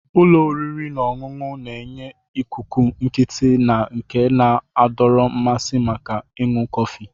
Ụlọ oriri na ọṅụṅụ na-enye ikuku nkịtị na nke na-adọrọ mmasị maka ịṅụ kọfị.